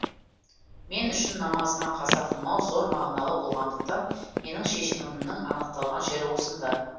мен үшін намазыма қаза қылмау зор мағыналы болғандықтан менің шешімімнің анықталған жері осында